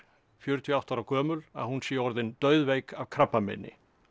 fjörutíu og átta ára gömul að hún sé orðin af krabbameini